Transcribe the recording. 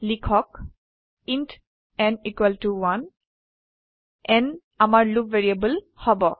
লিখক int n 1 n আমাৰ loop variable হব